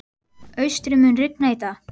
Austri, mun rigna í dag?